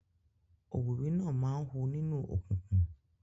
Òwìwí máa ń hu nínú òkùnkùn.